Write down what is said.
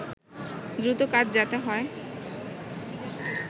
দ্রুত কাজ যাতে হয়